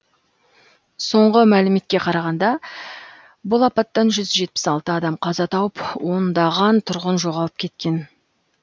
соңғы мәліметке қарағанда бұл апаттан жүз жетпіс алты адам қаза тауып ондаған тұрғын жоғалып кеткен